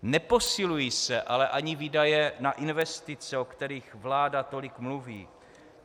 Neposilují se ale ani výdaje na investice, o kterých vláda tolik mluví.